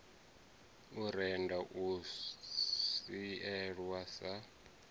u rennda u sielwa sa